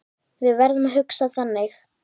Við verðum að hugsa þannig.